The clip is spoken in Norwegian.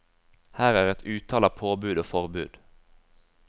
Her er et utall av påbud og forbud.